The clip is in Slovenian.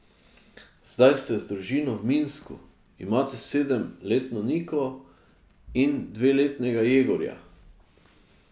Zdaj ste z družino v Minsku, imate sedemletno Niko in dveletnega Jegorja.